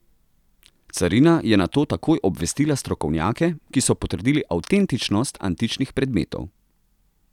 Carina je nato takoj obvestila strokovnjake, ki so potrdili avtentičnost antičnih predmetov.